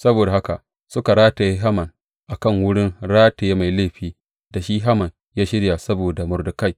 Saboda haka suka rataye Haman a kan wurin rataye mai laifin da shi Haman ya shirya saboda Mordekai.